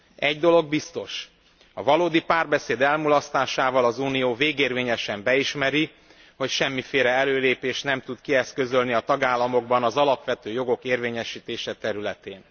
Egy dolog biztos a valódi párbeszéd elmulasztásával az Unió végérvényesen beismeri, hogy semmiféle előrelépést nem tud kieszközölni a tagállamokban az alapvető jogok érvényesítése területén.